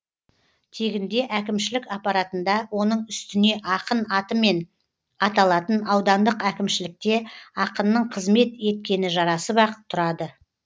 тегінде әкімшілік аппаратында оның үстіне ақын атымен аталатын аудандық әкімшілікте ақынның қызмет еткені жарасып ақ тұрады